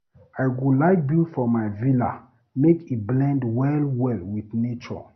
I go like build for my villa make e blend well well with nature.